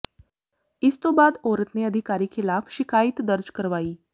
ਇਸ ਤੋਂ ਬਾਅਦ ਔਰਤ ਨੇ ਅਧਿਕਾਰੀ ਖਿਲਾਫ ਸ਼ਿਕਾਇਤ ਦਰਜ ਕਰਵਾਈ